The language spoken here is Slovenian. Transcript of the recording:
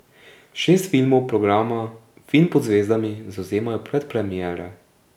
Šest filmov programa Film pod zvezdami zavzemajo predpremiere.